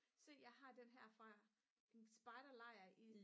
se jeg har den her fra en spejderlejr i